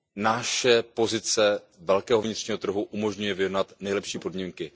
Naše pozice velkého vnitřního trhu umožňuje vyjednat nejlepší podmínky.